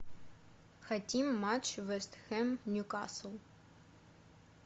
хотим матч вест хэм ньюкасл